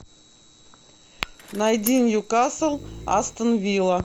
найди ньюкасл астон вилла